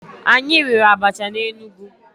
Anyị riri abacha na Enugu.